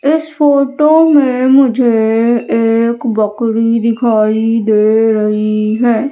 इस फोटो में मुझे एक बकरी दिखाई दे रही है।